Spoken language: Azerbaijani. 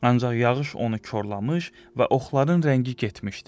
Ancaq yağış onu korlamış və oxların rəngi getmişdi.